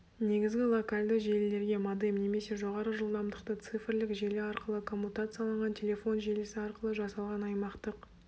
негізгі локальды желілерге модем немесе жоғары жылдамдықты цифрлік желі арқылы коммутацияланған телефон желісі арқылы жасалған аймақтық